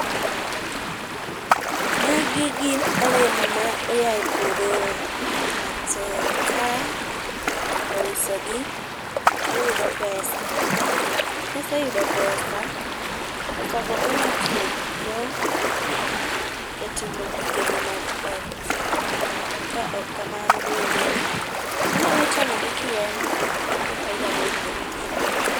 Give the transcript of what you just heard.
Magi gi olemo ma oaye puodho, ngato ka ouso gi oyudo pesa, ka oseyudo pesa, pesa go onyalo tiyo go e timo gigene mag ot kaok kamano bende onyalo chamogi kien, nitie faida ma oyudo e dende